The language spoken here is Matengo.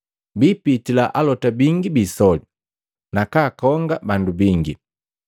Biipitila alota bingi biisoli, nakaakonga bandu bingi.